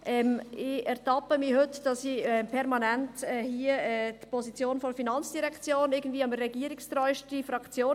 Ich ertappe mich dabei, dass ich heute permanent die Position der FIN vertrete und diejenige regierungstreusten Fraktion.